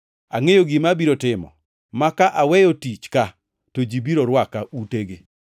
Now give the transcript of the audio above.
Angʼeyo gima abiro timo, ma ka aweyo tich ka, to ji biro rwaka utegi!’